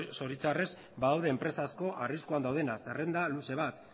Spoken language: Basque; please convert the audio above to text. zoritxarrez badaude enpresa asko arriskuan daudenak zerrenda luze bat